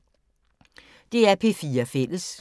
DR P4 Fælles